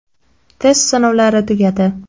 Test sinovlari tugadi.